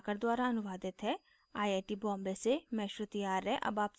यह स्क्रिप्ट प्रभाकर द्वारा अनुवादित है आई आई टी बॉम्बे से मैं श्रुति आर्य अब आपसे विदा लेती हूँ